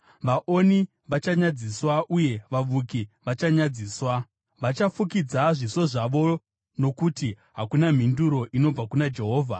Vaoni vachanyadziswa uye vavuki vachanyadziswa. Vachafukidza zviso zvavo nokuti hakuna mhinduro inobva kuna Jehovha.”